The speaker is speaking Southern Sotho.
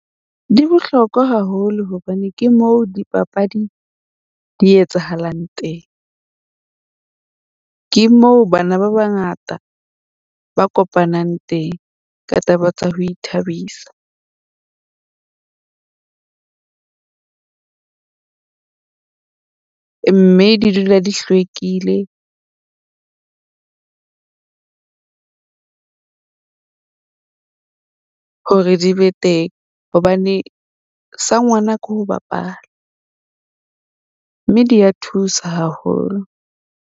Di bohlokwa haholo hobane ke moo dipapadi di etsahalang teng. Ke moo bana ba bangata ba kopanang teng ka taba tsa ho ithabisa. Mme di dula di hlwekile hore di be teng, hobane sa ngwana ke ho bapala. Mme di ya thusa haholo.